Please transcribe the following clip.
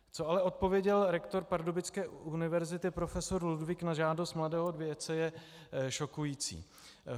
Co ale odpověděl rektor pardubické univerzity profesor Ludwig na žádost mladého vědce, je šokující.